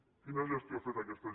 quina gestió ha fet aquesta